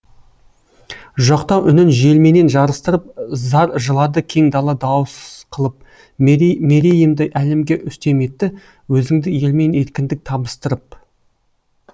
жоқтау үнін желменен жарыстырып зар жылады кең дала дауыс қылып мерейімді әлемге үстем етті өзіңді елмен еркіндік табыстырып